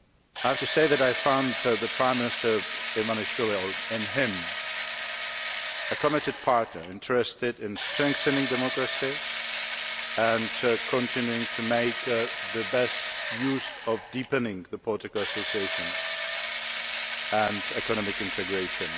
I have to say that I found in Prime Minister Ivanishvili a committed partner, interested in strengthening democracy and continuing to make the best use of the deepening of political association and economic integration.